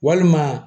Walima